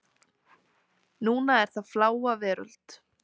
Núna er það Fláa veröld.